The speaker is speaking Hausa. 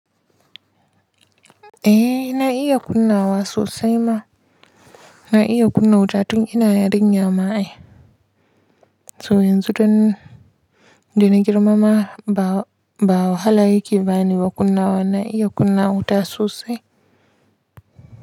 Eh na iya kunna wa sosai ma, na iya kunna wuta tun ina yarinya ma'ai. To yanzu don, dana girmama ba, ba wahala yake bani ba kunnawan na iya kunna wuta sosai.